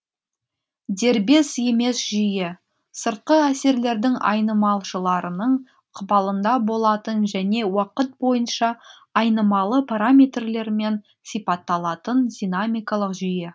дербес емес жүйе сыртқы әсерлердің айнымалшыларының ықпалында болатын және уақыт бойынша айнымалы параметрлермен сипатталатын динамикалық жүйе